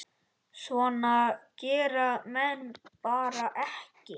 Svona gera menn bara ekki.